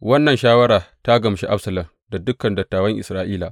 Wannan shawara ta gamshi Absalom da dukan dattawan Isra’ila.